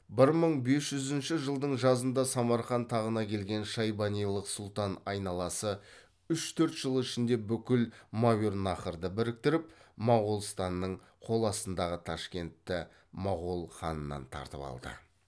бір мың бес жүзінші жылдың жазында самарқан тағына келген шайбанилық сұлтан айналасы үш төрт жыл ішінде бүкіл мәуереннахрды біріктіріп моғолстанның қол астындағы ташкентті моғол ханынан тартып алды